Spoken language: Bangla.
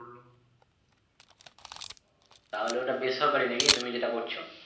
তাহলে ওটা বেসরকারি নাকি তুমি যেটা করছো?